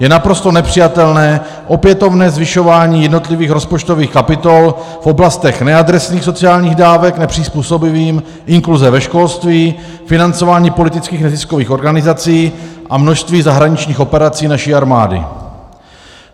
Je naprosto nepřijatelné opětovné zvyšování jednotlivých rozpočtových kapitol v oblasti neadresných sociálních dávek nepřizpůsobivým, inkluze ve školství, financování politických neziskových organizací a množství zahraničních operací naší armády.